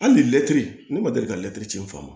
Hali ni lɛtiri ne ma deli ka lɛtiri ci n fa ma